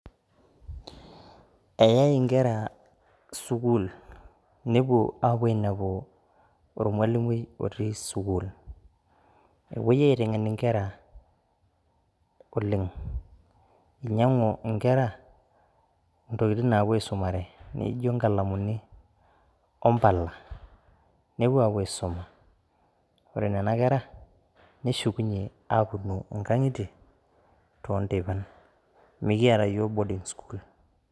Eyai inkera sukuul nepuo aapuo ainepu olmalimui otii sukuul. Epuoi aiteng'ena nkera oleng', inyang'u nkera intokitin naapuo aisumare naijo nkalamuni ompala nepuo aapuo aisuma, Ore nena kera neshukunye aapuonu nkang'itie toonteipan mikiyata yiok boarding school.